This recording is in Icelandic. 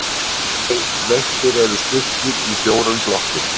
Veittir eru styrkir í fjórum flokkum